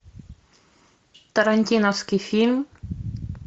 тарантиновский фильм